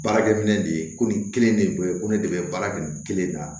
Baarakɛ minɛ de ye ko nin kelen de bɛ ye ko ne de bɛ baara kɛ nin kelen na